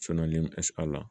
la